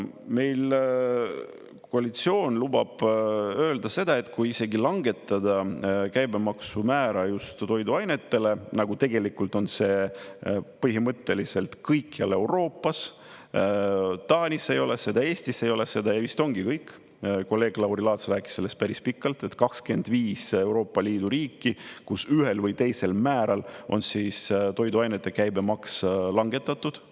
Meil koalitsioon lubab öelda seda, et kui isegi langetada käibemaksu määra just toiduainetele, nagu tegelikult on see põhimõtteliselt kõikjal Euroopas, Taanis ei ole seda ja Eestis ei ole seda ja vist ongi kõik, kolleeg Lauri Laats rääkis sellest päris pikalt, et 25 on Euroopa Liidu riiki, kus ühel või teisel määral on toiduainete käibemaks langetatud …